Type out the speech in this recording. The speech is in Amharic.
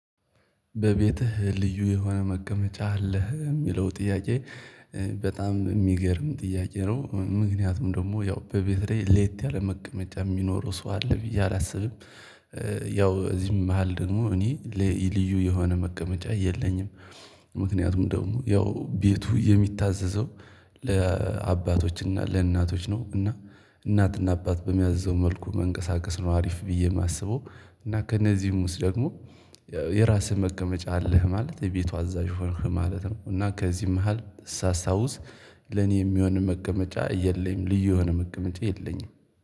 በቤትህ ልዩ የሆነ መቀመጫ አለህ የሚለው ጥያቄ በጣም የሚገርም ጥያቄ ነው ምክንያቱም ደግሞ ያው በቤቴ ላይ ሌት ያለ መቀመጫ የሚኖረው ሰው አለ ብዬ አላስብም ያው እዚህ መሃል ደግሞ እኔ ልዩ የሆነ መቀመጫ የለኝም ምክንያቱም ደግሞ ያው ቤቱ የሚታዘዘው ለአባቶችና ለእናቶች ነው እና እናትና አባት በሚያዘው መልኩ መንቀሳቀስ ነው አሪፍ ብዬ የማስበው እና ከነዚህም ውስጥ ደግሞ የራስህ መቀመጫ አለህ ማለት የቤቱ አዛዥ ሆንክ ማለት ነው እና ከዚህም መሃል ሳስታውስ ለኔ የሚሆንም መቀመጫ የለኝም ልዩ የሆነ መቀመጫ የለኝም።